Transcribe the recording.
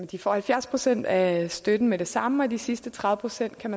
de får halvfjerds procent af støtten med det samme og de sidste tredive procent kan